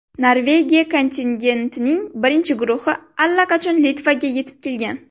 Norvegiya kontingentining birinchi guruhi allaqachon Litvaga yetib kelgan.